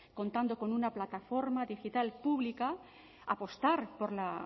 contando con una plataforma digital pública apostar por la